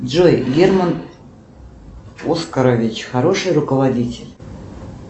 джой герман оскарович хороший руководитель